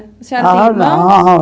A senhora tem irmão? A não